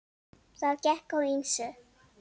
Það gekk á ýmsu.